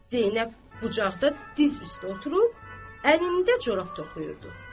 Zeynəb bucaqda diz üstə oturub, əlində corab toxuyurdu.